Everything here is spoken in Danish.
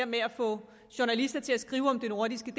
med at få journalister til at skrive om det nordiske